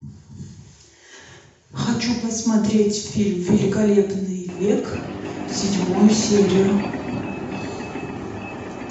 хочу посмотреть фильм великолепный век седьмую серию